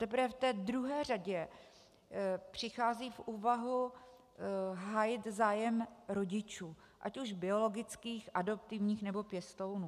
Teprve v té druhé řadě přichází v úvahu hájit zájem rodičů, ať už biologických, adoptivních, nebo pěstounů.